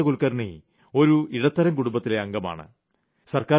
ഈ ചന്ദ്രകാന്ത കുൽക്കർണി ഒരു ഇടത്തരം കുടുംബത്തിലെ അംഗമാണ്